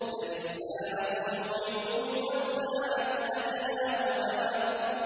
بَلِ السَّاعَةُ مَوْعِدُهُمْ وَالسَّاعَةُ أَدْهَىٰ وَأَمَرُّ